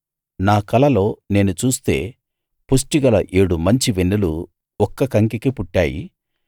నా కలలో నేను చూస్తే పుష్టిగల ఏడు మంచి వెన్నులు ఒక్క కంకికి పుట్టాయి